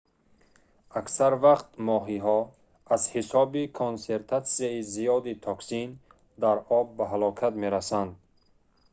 аксар вақт моҳиҳо аз ҳисоби консентратсияи зиёди токсин дар об ба ҳалокат мерасанд